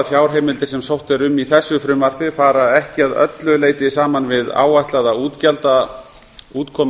fjárheimildir sem sótt er um í þessu frumvarpi fara ekki að öllu leyti saman við áætlaða útgjaldaútkomu